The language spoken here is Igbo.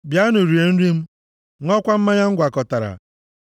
“Bịanụ, rie nri m, ṅụọkwa mmanya m gwakọtara.